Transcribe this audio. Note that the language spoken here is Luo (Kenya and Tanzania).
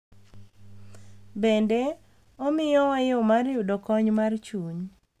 Bende, omiyowa yo mar yudo kony mar chuny,